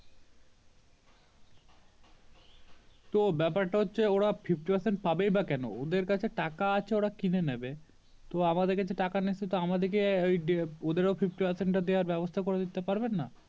তো ব্যাপার টা হচ্ছে ওরা Fifty Percent পাবেই বা কেন ওদের কাছে টাকা আছে ওরা কিনে নিবে তো আমাদের কাছে টাকা নেই সেতু আমাদিকে ওদের ও Fifty Percent টা দেওয়ার ব্যবস্তা করে দিতে পারবেন না